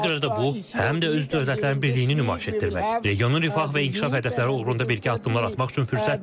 Ona görə də bu həm də öz dövlətlərin birliyini nümayiş etdirmək, regionun rifah və inkişaf hədəfləri uğrunda birgə addımlar atmaq üçün fürsətdir.